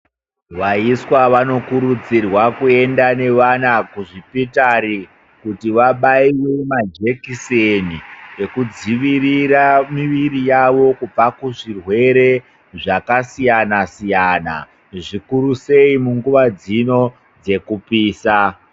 Vaiswa vanokuudzirwa kuenda nevana kuzvipitari kuti vabaiwe majekiseni ekudzivirira miviri yavo kubva kuzvirwere zvakasiyana siyana ,zvikurusei munguva dzino dzekupisa.